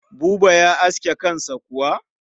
Buba ya aske kansa kuwa?